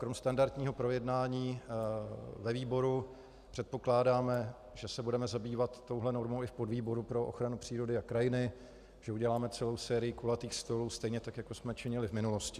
Kromě standardního projednání ve výboru předpokládáme, že se budeme zabývat touto normou i v podvýboru pro ochranu přírody a krajiny, že uděláme celou sérii kulatých stolů stejně tak, jako jsme činili v minulosti.